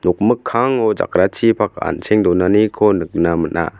nokmikkango jakrachipak an·cheng donaniko nikna man·a.